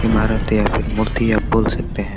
ईमारत या फिर मूर्ति आप बोल सकते हैं।